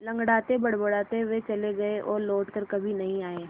लँगड़ाते बड़बड़ाते वे चले गए और लौट कर कभी नहीं आए